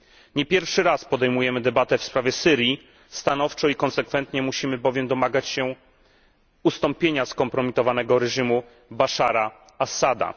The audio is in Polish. Nie pierwszy raz podejmujemy debatę w sprawie Syrii stanowczo i konsekwentnie musimy bowiem domagać się ustąpienia skompromitowanego reżimu Baszara Assada.